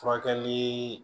Furakɛli